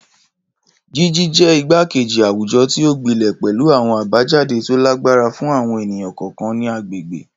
Jiji jẹ igbakeji awujọ ti o gbilẹ pẹlu awọn abajade to lagbara fun awọn eniyan kọọkan ati agbegbe.